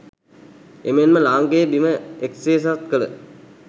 එමෙන්ම ලාංකේය බිම එක්සේසත් කළ